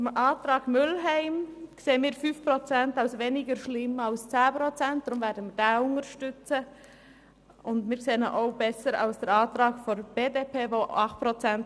Zum Antrag Mühlheim: Diesen werden wir unterstützen, weil wir eine Kürzung um 5 Prozent als weniger schlimm erachten als eine Kürzung um 10 Prozent.